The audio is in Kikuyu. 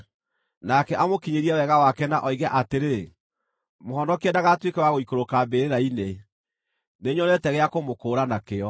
nake amũkinyĩrie wega wake na oige atĩrĩ, ‘Mũhonokie ndagatuĩke wa gũikũrũka mbĩrĩra-inĩ; nĩnyonete gĩa kũmũkũũra nakĩo,’